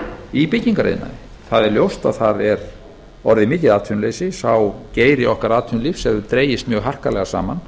í byggingariðnaðinum það er ljóst að það er orðið mikið atvinnuleysi sá geiri okkar atvinnulífs hefur dregist harkalega saman